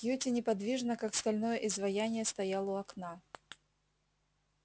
кьюти неподвижно как стальное изваяние стоял у окна